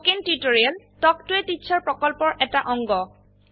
spoken tutorial talk ত a teacher প্ৰকল্পৰ এটা অংগ